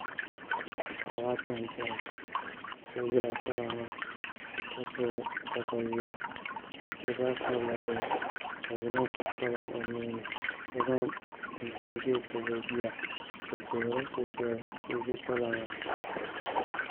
Paɣaba ata n chɛna so ʒila kpalaŋa ka gbubi katawiya bi zaa kpabila bihi ka yino gbubi kpalaŋ o nuuni ka zaŋ chinchin ʒiɛ kpabi o bia bi tuhurila so soli ka o ʒi kpalaŋa